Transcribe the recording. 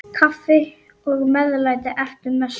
Kaffi og meðlæti eftir messu.